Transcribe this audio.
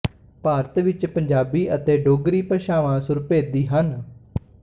ਭਾਰਤ ਵਿੱਚ ਪੰਜਾਬੀ ਅਤੇ ਡੋਗਰੀ ਭਾਸ਼ਾਵਾਂ ਸੁਰਭੇਦੀ ਹਨ